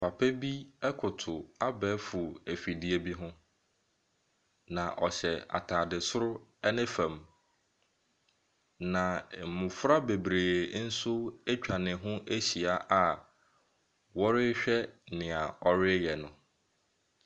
Papa bi koto abɛɛfo afidie bi ho, na ɛhyɛ ataade soro ne fam. Na mmofra bebree nso atwa ne ho ahyia a mmofra bebree atwa ne ho ahyia a ɔrehwɛ nea ɔreyɛ no.